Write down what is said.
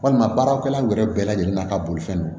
Walima baaraw kɛla bɛɛ lajɛlen n'a ka bolifɛn don